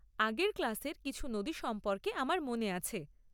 আগের ক্লাসের কিছু নদী সম্পর্কে আমার মনে আছে।